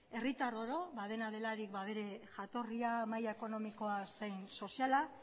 herritar oro dena delarik bere jatorria maila ekonomikoa zein soziala